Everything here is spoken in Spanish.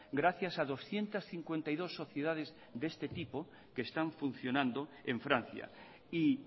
gracias a doscientos cincuenta y dos sociedades de este tipo que están funcionando en francia y